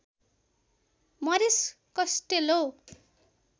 मरिस कस्टेलो